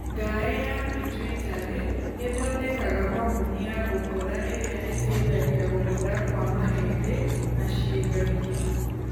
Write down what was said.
Ngaĩ ya pituitarĩ ĩthondekaga homoni ya gũkũra ĩrĩa ĩteithagia gũkũra kwa mahĩndĩ na ciĩga ingĩ.